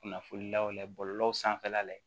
Kunnafoni law layɛ bɔlɔlɔw sanfɛla la